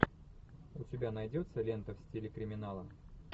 у тебя найдется лента в стиле криминала